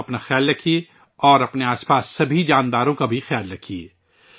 آپ ، اپنا خیال رکھئے اور اپنے آس پاس سبھی جانداروں کا بھی خیال رکھئے